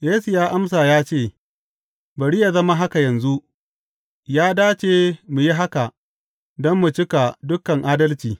Yesu ya amsa ya ce, Bari yă zama haka yanzu; ya dace mu yi haka don mu cika dukan adalci.